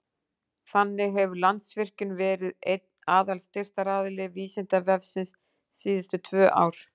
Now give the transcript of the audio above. Þannig hefur Landsvirkjun verið einn aðalstyrktaraðili Vísindavefsins síðustu tvö ár.